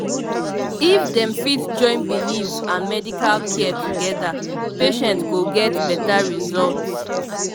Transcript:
if dem fit join belief and medical care together patient go get better result